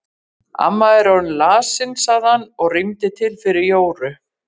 Amma er orðin lasin sagði hann og rýmdi til fyrir Jóru.